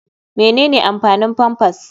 Menene amfanin pampers?